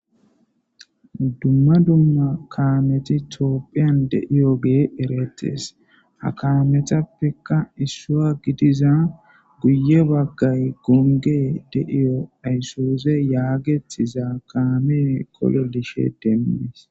dumma dumma kaameti tiopphiyan deiyogee eretees a kaametappeka iswa gidiza guye baggay gonge deiyo ayssooze yaagetiza kaamee kololishe deemmees